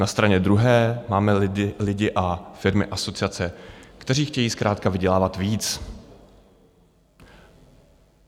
Na straně druhé máme lidi, firmy a asociace, kteří chtějí zkrátka vydělávat víc.